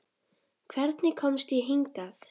Hvernig komst ég hingað?